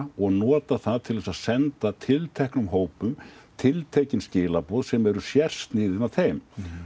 og notað það til að senda tilteknum hópum tiltekin skilaboð sem eru sérsniðin að þeim